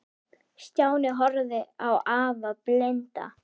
Stjáni horfði á afa blinda.